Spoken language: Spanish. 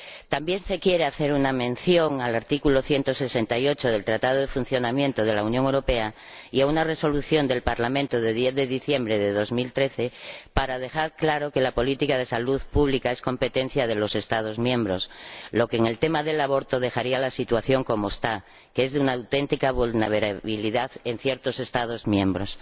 También se pretende hacer una mención al artículo 168 del Tratado de Funcionamiento de la Unión Europea y a una Resolución del Parlamento de 10 de diciembre de 2013 para dejar claro que la política de salud pública es competencia de los Estados miembros, lo que en el tema del aborto dejaría la situación como está, que es de una auténtica vulnerabilidad en ciertos Estados miembros.